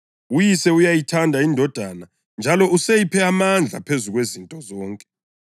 UYise uyayithanda iNdodana njalo useyiphe amandla phezu kwezinto zonke.